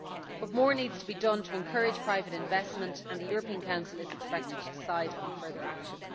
But more needs to be done to encourage private investment and the European Council is expected to decide on further action.